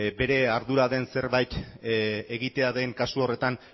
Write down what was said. bere ardura den zerbait egitea den kasu horretan